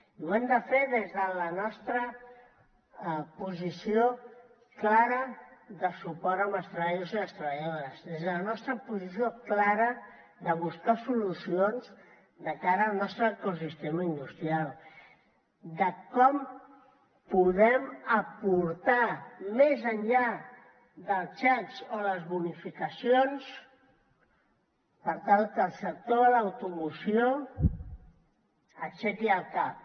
i ho hem de fer des de la nostra posició clara de suport als treballadors i les treballadores des de la nostra posició clara de buscar solucions de cara al nostre ecosistema industrial de què podem aportar més enllà dels xecs o les bonificacions per tal que el sector de l’automoció aixequi el cap